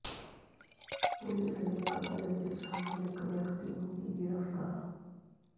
police ਨੇ ਕਤਲ ਵਿਚ ਸ਼ਾਮਲ ਇੱਕ ਵਿਅਕਤੀ ਨੂੰ ਵੀ ਗ੍ਰਿਫਤਾਰ